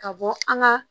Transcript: Ka bɔ an ka